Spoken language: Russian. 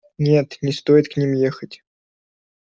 нет не стоит к ним ехать